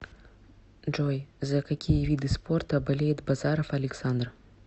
джой за какие виды спорта болеет базаров александр